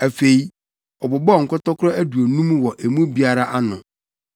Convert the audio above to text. Afei, ɔbobɔɔ nkɔtɔkoro aduonum wɔ emu biara ano